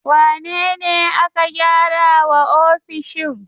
Wane ne aka gyara wa ofishin?